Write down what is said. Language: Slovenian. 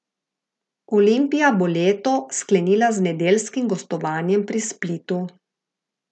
Olimpija bo leto sklenila z nedeljskim gostovanjem pri Splitu.